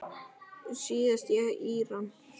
Síðast í Íran.